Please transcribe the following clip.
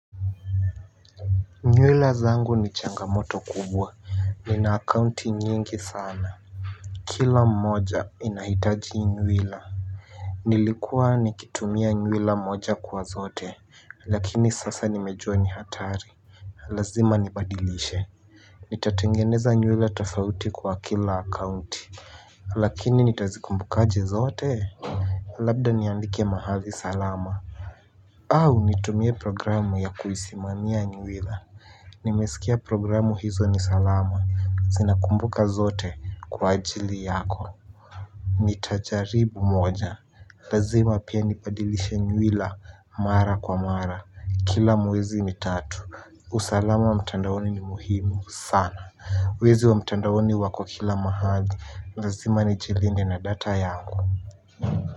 Nywila zangu ni changamoto kubwa nina akaunti nyingi sana. Kila mmoja inahitaji nywila. Nilikuwa nikitumia nywila moja kwa zote lakini sasa nimejua ni hatari. Lazima nibadilishe nitatengeneza nywila tofauti kwa kila akaunti. Lakini nitazikumbukaje zote. Labda niandike mahali salama. Au nitumie programu ya kuisimania nywila. Nimesikia programu hizo ni salama, zinakumbuka zote kwa ajili yako. Nitajaribu moja, lazima pia nibadilishe nywila mara kwa mara, kila mwezi mitatu. Usalama wa mtandaoni ni muhimu sana. Wezi wa mtandaoni wako kila mahali, lazima nijilinde na data yangu.